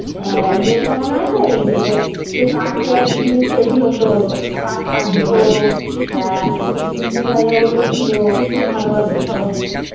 এই ইয়ে টা মনে আছে? যেটা সেই কাঠের জিনিস তৈরি হতো? কাঠ কাটতো একটা গুল্লু ভাইয়া বলেছিল খুব ভালোবাসতো সবাইকে।